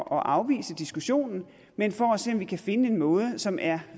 afvise diskussionen men for at se om vi kan finde en måde som er